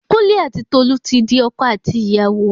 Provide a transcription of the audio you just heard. Kúnlé ati Tolu ti di ọkọ àti ìyàwó